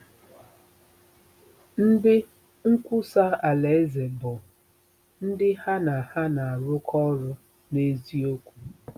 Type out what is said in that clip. Ndị nkwusa Alaeze bụ “ndị ha na ha na-arụkọ ọrụ n’eziokwu.”